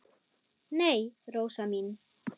Nei, Rósa mín.